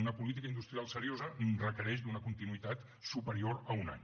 una política industrial seriosa requereix una continuïtat superior a un any